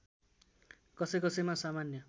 कसैकसैमा सामान्य